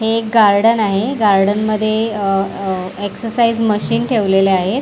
एक गार्डन आहे गार्डन मध्ये अ अ एक्सरसाइज मशीन ठेवलेले आहेत.